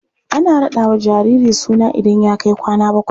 Ana raɗawa jariri suna idan ya kai kwana bakwai.